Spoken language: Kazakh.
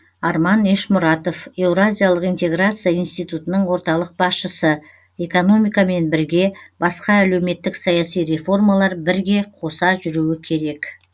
арман ешмұратов еуразиялық интеграция институтының орталық басшысы экономикамен бірге басқа әлеуметтік саяси реформалар бірге қоса жүруі керек